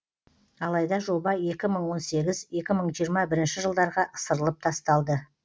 алайда жоба екі мың он сегіз екі мың жиырма бірінші жылдарға ысырылып тасталды